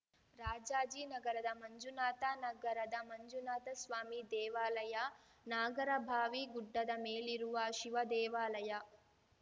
ರಾಜಾಜಿನಗರದ ಮಂಜುನಾಥ ನಗರದ ಮಂಜುನಾಥಸ್ವಾಮಿ ದೇವಾಲಯ ನಾಗರಭಾವಿ ಗುಡ್ಡದ ಮೇಲಿರುವ ಶಿವದೇವಾಲಯ